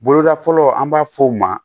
Boloda fɔlɔ an b'a fɔ o ma